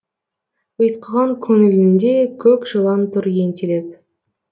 ұйтқыған көңілінде көк жылан тұр ентелеп